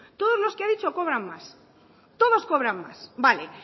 todos los que ha dicho cobran más todos cobran más vale